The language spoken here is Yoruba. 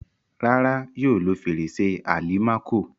Rárá, yóò lo fèrèsé àlìmákò.